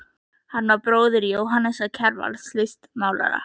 Hann var bróðir Jóhannesar Kjarvals, listmálara.